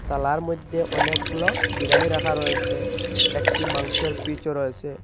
থালার মধ্যে অনেকগুলো বিরিয়ানি রাখা রয়েসে একটি মাংসের পিচও রয়েসে।